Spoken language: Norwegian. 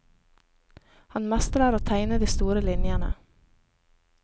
Han mestrer å tegne de store linjene.